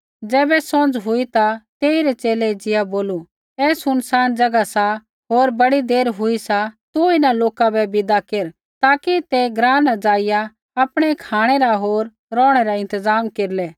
ज़ैबै सौंझ़ हुई ता तेइरै च़ेले एज़िया बोलू ऐ सुनसान ज़ैगा सा होर बड़ी देर हुई सा तू इन्हां लोका बै विदा केर ताकि ते ग्राँ न ज़ाइआ आपणै खाँणै रा होर रौहणै रा इंतज़ाम केरलै